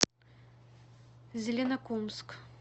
зеленокумск